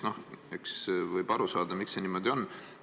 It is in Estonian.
Noh, võib aru saada, miks see niimoodi on.